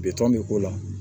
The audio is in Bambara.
Bitɔn bɛ ko la